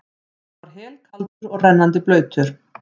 Hann var helkaldur og rennandi blautur.